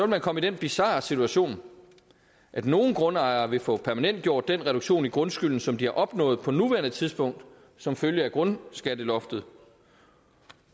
man komme i den bizarre situation at nogle grundejere vil få permanentgjort den reduktion i grundskylden som de har opnået på nuværende tidspunkt som følge af grundskatteloftet